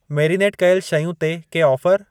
Marinate कयल शयूं ते के ऑफर?